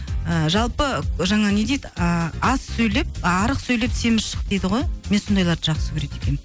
ыыы жалпы жаңа не дейді ыыы аз сөйлеп а арық сөйлеп семіз шық дейді ғой мен сондайларды жақсы көреді екенмін